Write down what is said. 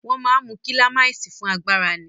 Wọ́n máa ń mu kílámáìsì fún agbára ni.